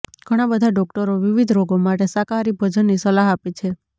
ઘણા બધા ડોક્ટરો વિવિધ રોગો માટે શાકાહારી ભોજનની સલાહ આપે છે